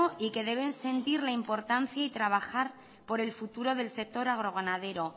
y que deben sentir la importancia y trabajar por el futuro del sector agroganadero